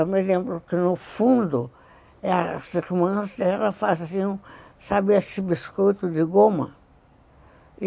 Eu me lembro que, no fundo, as irmãs faziam, sabe, esse biscoito de goma?